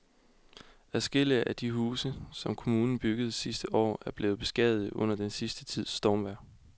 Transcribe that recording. Adskillige af de huse, som kommunen byggede sidste år, er blevet beskadiget under den sidste tids stormvejr.